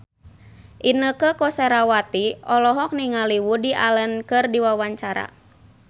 Inneke Koesherawati olohok ningali Woody Allen keur diwawancara